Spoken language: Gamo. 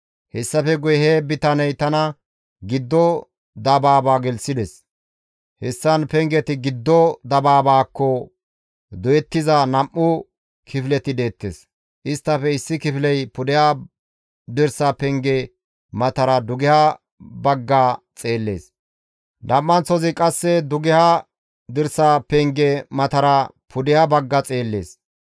Hessafe guye he bitaney tana giddo dabaaba gelththides. Hessan pengeti giddo dabaabaakko doyettiza nam7u kifileti deettes. Isttafe issi kifiley pudeha dirsa penge matara dugeha bagga xeellees; nam7anththay qasse dugeha dirsa penge matara pudeha bagga xeellees.